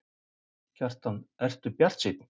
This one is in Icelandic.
Kjartan: Ert þú bjartsýnn?